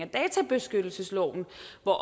af